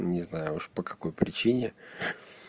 не знаю уж по какой причине